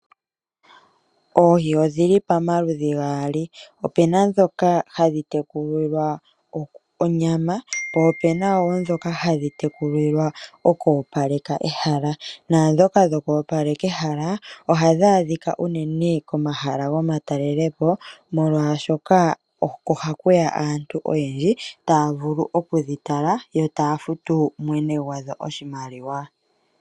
Oohi odhili pamaludhu gali opuna dhoka hadhi tekulilwa onyama po opena dhoka hadhi tekulilwa oku opaleka ehala, nadhoka dhoku opaleka ehala ohadhi adhika unene komahala gomatalelepo molwashoka oko hakuya aantu oyendji taya vulu oku dhi tala yo taya futu mwene gwadho oshimaliwa.